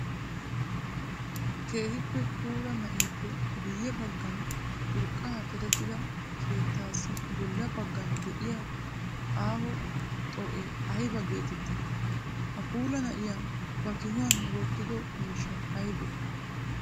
Keehippe puula na'eppe guye bagan urqqa cadettida keettassi bolla bagan de'iyaa aaho xoo'ee aybba geetetti? Ha puula na'iyaa ba kihuwan wotido miishshay aybbe?